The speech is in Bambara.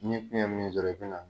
N'i kɛn ka min sɔrɔ, i bina